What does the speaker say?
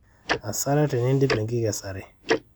hasara tenidip enkikesare